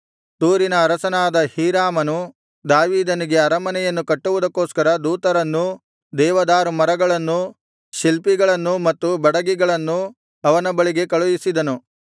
ತೂರಿನ ಅರಸನಾದ ಹೀರಾಮನು ದಾವೀದನಿಗೆ ಅರಮನೆಯನ್ನು ಕಟ್ಟುವುದಕ್ಕೋಸ್ಕರ ದೂತರನ್ನೂ ದೇವದಾರುಮರಗಳನ್ನೂ ಶಿಲ್ಪಿಗಳನ್ನೂ ಮತ್ತು ಬಡಗಿಗಳನ್ನು ಅವನ ಬಳಿಗೆ ಕಳುಹಿಸಿದನು